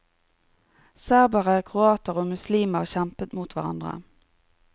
Serbere, kroater og muslimer kjempet mot hverandre.